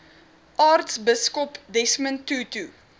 aartsbiskop desmond tutu